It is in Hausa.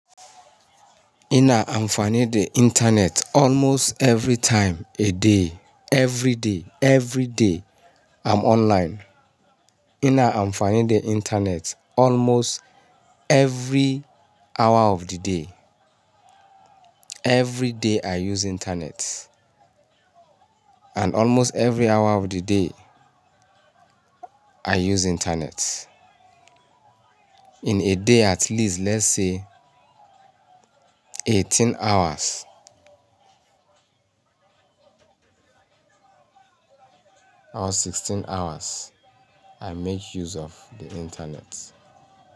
Ina amfani da internet almost every time a day, every day, every day I'm online. Ina amfani da internet almost every hour of the day. Every day I use internet. And almost every hour of the day, I use internet. In a day, at least let's say eighteen hours or sixteen hours, I make use of the internet.